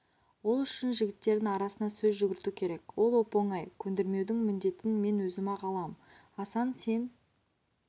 ол үшін жігіттердің арасына сөз жүгірту керек ол оп-оңай көндірмеудің міндетін мен өзім-ақ алам асан сен